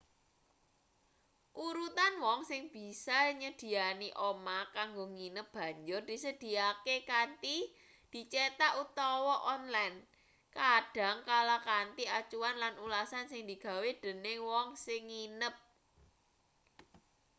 urutan wong sing bisa nyedhiyani omah kanggo nginep banjur disedhiyakake kanthi dicethak utawa onlen kadang kala kanthi acuan lan ulasan sing digawe dening wong sing nginep